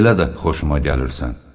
Belə də xoşuma gəlirsən.